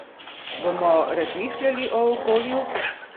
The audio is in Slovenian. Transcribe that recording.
Bomo razmišljali o okolju?